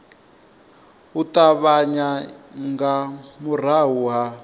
u ṱavhanya nga murahu ha